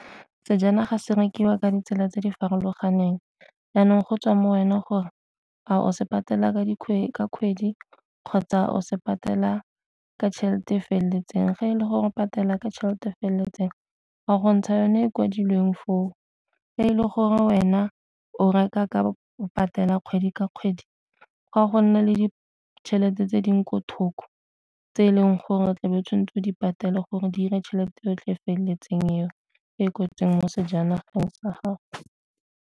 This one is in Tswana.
Sejanaga se rekiwa ka ditsela tse di farologaneng, janong go tswa mo go wena gore a o se patela ka kgwedi kgotsa o se patela ka tšhelete feleletseng. Fa e le gore patela ka tšhelete feleletseng wa go ntsha yone e kwadilweng foo, e le gore wena o reka ka patela kgwedi ka kgwedi ga go nna le ditšhelete tse dingwe ko thoko tse e leng gore o tla bo o tshwanetse o di patela gore di 'ire tšhelete yotlhe feleletseng eo e kwetsweng mo sejanageng sa gago.